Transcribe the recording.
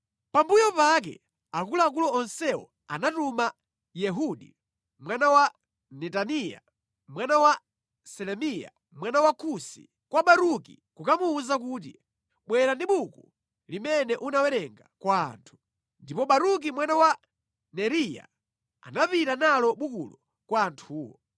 Pambuyo pake akuluakulu onsewo anatuma Yehudi mwana wa Netaniya, mwana wa Selemiya, mwana wa Kusi, kwa Baruki kukamuwuza kuti, “Bwera ndi buku limene unawerenga kwa anthu.” Ndipo Baruki mwana wa Neriya anapita nalo bukulo kwa anthuwo.